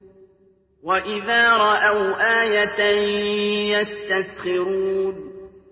وَإِذَا رَأَوْا آيَةً يَسْتَسْخِرُونَ